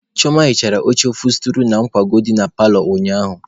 Chioma hichara oche ofosturị na nkwago dị na paalọ ụnyaahụ.